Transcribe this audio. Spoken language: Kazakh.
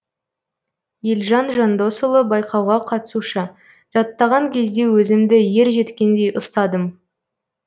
елжан жандосұлы байқауға қатысушы жаттаған кезде өзімді ержеткендей ұстадым